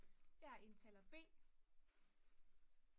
jeg er indtaler b